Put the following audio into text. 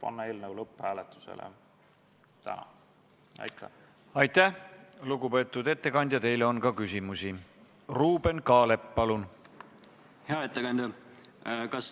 Austatud Riigikogu, panen hääletusele Vabariigi Valitsuse algatatud energiamajanduse korralduse seaduse muutmise seaduse eelnõu 48.